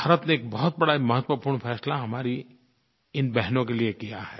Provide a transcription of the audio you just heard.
भारत ने एक बहुत बड़ा महत्वपूर्ण फ़ैसला हमारी इन बहनों के लिये किया है